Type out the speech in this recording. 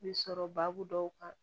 Bɛ sɔrɔ baabu dɔw kan